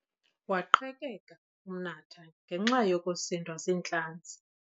Waqhekeka umnatha ngenxa yokusindwa ziintlanzi.